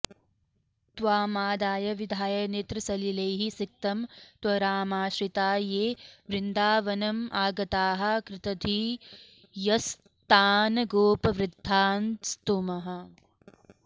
त्वामादाय विधाय नेत्रसलिलैः सिक्तं त्वरामाश्रिता ये वृन्दावनमागताः कृतधियस्तान्गोपवृद्धान्स्तुमः